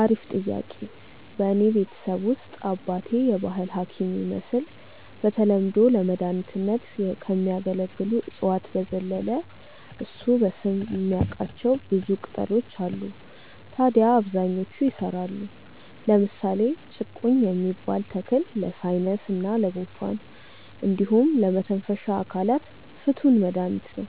አሪፍ ጥያቄ፣ በእኔ ቤተሰብ ውስጥ አባቴ የባህል ሀኪም ይመስል በተለምዶ ለመድኃኒትነት ከሚያገለግሉ እፅዋት በዘለለ እሱ በስም የሚያቃቸው ብዙ ቅጣሎች አሉ ታድያ አብዛኞቹ ይሰራሉ። ለምሳሌ ጭቁኝ የሚባል ተክል ለሳይነስ እና ጉንፋን እንዲሁም ለመተንፈሻ አካላት ፍቱን መድሀኒት ነው።